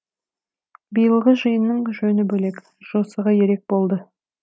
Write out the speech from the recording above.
биылғы жиынның жөні бөлек жосығы ерек болды